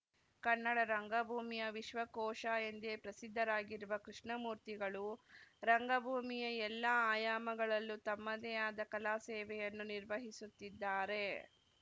ಕನ್ನಡ ರಂಗಭೂಮಿಯ ವಿಶ್ವಕೋಶ ಎಂದೇ ಪ್ರಖ್ಯಾತರಾಗಿರುವ ಕೃಷ್ಣಮೂರ್ತಿಗಳು ರಂಗಭೂಮಿಯ ಎಲ್ಲ ಆಯಾಮಗಳಲ್ಲೂ ತಮ್ಮದೇ ಆದ ಕಲಾ ಸೇವೆಯನ್ನು ನಿರ್ವಹಿಸುತ್ತಿದ್ದಾರೆ